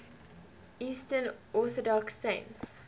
eastern orthodox saints